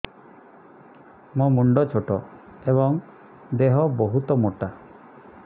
ମୋ ମୁଣ୍ଡ ଛୋଟ ଏଵଂ ଦେହ ବହୁତ ମୋଟା